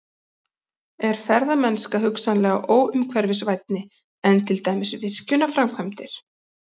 Er ferðamennska hugsanlega óumhverfisvænni en til dæmis virkjunarframkvæmdir?